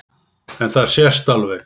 En það sést alveg.